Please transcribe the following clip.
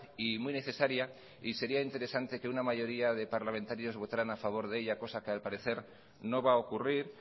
y muy necesaria y sería interesante que una mayoría de parlamentarios votaran a favor de ella cosa que al parecer no va a ocurrir